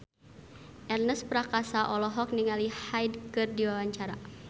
Ernest Prakasa olohok ningali Hyde keur diwawancara